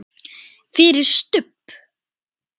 FYRIR STUBB!